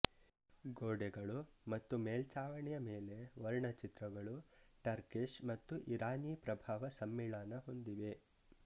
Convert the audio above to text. ಗೋಡೆಗಳು ಮತ್ತು ಮೇಲ್ಛಾವಣಿಯ ಮೇಲೆ ವರ್ಣಚಿತ್ರಗಳು ಟರ್ಕಿಷ್ ಮತ್ತು ಇರಾನಿ ಪ್ರಭಾವ ಸಮ್ಮಿಳನ ಹೊಂದಿವೆ